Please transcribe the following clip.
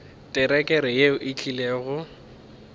terekere yeo e tlile go